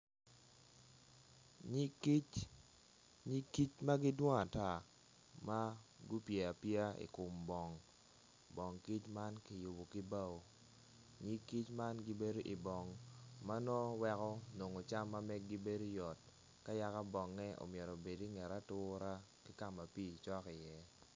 Yig kic nyig kic ma gidwong ata ma gupye apye i kom bong bong kic man kiyubo ki bao nyig kic man gibedo ibong ma nongo weko nongo cam ma meggi bedo yot ka yaka bonge omyero obed inget atura ki ka ma pii cok iye.